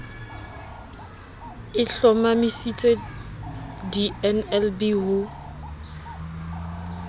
e hlomamisitse di nlb ho